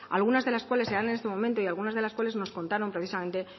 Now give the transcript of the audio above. algunas de las cuales se dan en este momento y algunas de las cuales nos contaron precisamente